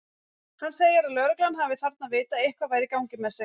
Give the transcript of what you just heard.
Hann segir að lögreglan hafi þarna vitað að eitthvað væri í gangi með sig.